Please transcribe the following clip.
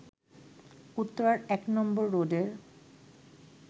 উত্তরার ১ নম্বর রোডের